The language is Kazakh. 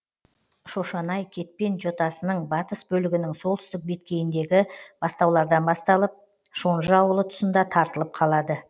шошанай кетпен жотасының батыс бөлігінің солтүстік беткейіндегі бастаулардан басталып шонжы ауылы тұсында тартылып қалады